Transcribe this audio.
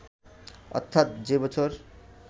অর্থাৎ যে বছর